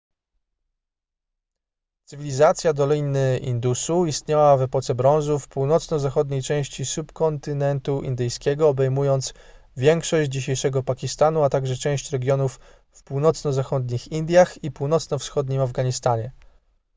cywilizacja doliny indusu istniała w epoce brązu w północno-zachodniej części subkontynentu indyjskiego obejmując większość dzisiejszego pakistanu a także część regionów w północno-zachodnich indiach i północno-wschodnim afganistanie